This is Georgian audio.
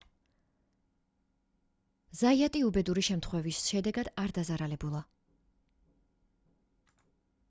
ზაიატი უბედური შემთხვევის შედეგად არ დაზარალებულა